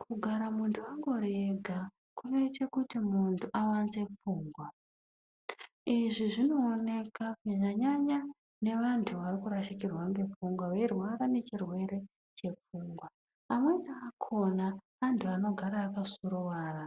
Kugara muntu angori ega kunoite kuti muntu awanze pfungwa. Izvi zvinooneka kunyanya nyanya ngevantu varikurashikirwa nepfungwa, veirwara nechirwere chepfungwa. Amweni akona antu anogara akasuruwara.